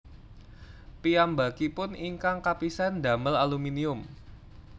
Piyambakipun ingkang kapisan ndamel aluminium